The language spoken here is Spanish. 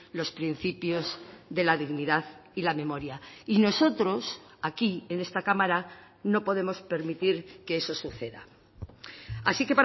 los principios de la dignidad y la memoria y nosotros aquí en esta cámara no podemos permitir que eso suceda así